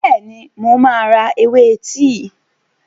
Bẹ́ẹ̀ni, mo máa ra ewé tíì.